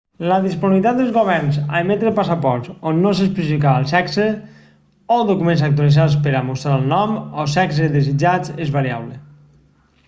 la disponibilitat dels governs a emetre passaports on no s'especifica el sexe x o documents actualitzats per a mostrar el nom o sexe desitjats és variable